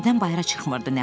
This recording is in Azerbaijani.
Evdən bayıra çıxmırdı.